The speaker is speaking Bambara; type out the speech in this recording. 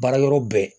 Baara yɔrɔ bɛɛ